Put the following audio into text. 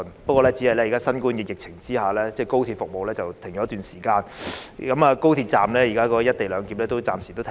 不過，只是在新冠疫情下，高鐵服務停頓了一段時間，現在高鐵站內的"一地兩檢"安排亦暫時停止。